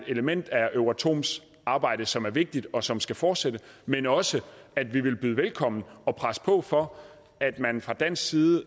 element af euratoms arbejde som er vigtigt og som skal fortsætte men også at vi vil byde velkommen og presse på for at man fra dansk side